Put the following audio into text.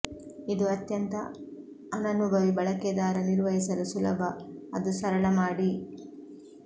ಇದು ಅತ್ಯಂತ ಅನನುಭವಿ ಬಳಕೆದಾರ ನಿರ್ವಹಿಸಲು ಸುಲಭ ಅದು ಸರಳ ಮಾಡಿ